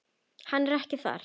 Hann er ekki þar.